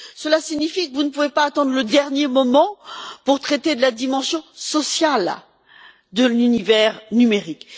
Donc, vous ne pouvez pas attendre le dernier moment pour traiter de la dimension sociale de l'univers numérique.